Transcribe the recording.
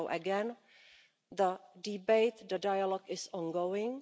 So again, the debate, the dialogue is ongoing.